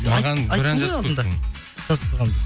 айттым ғой алдында жазып қойғанмын деп